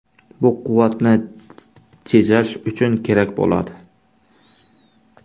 Bu quvvatni tejash uchun kerak bo‘ladi.